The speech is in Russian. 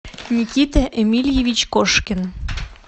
никита эмильевич кошкин